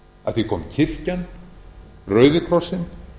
að því kom kirkjan og rauði krossinn